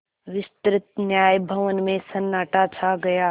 विस्तृत न्याय भवन में सन्नाटा छा गया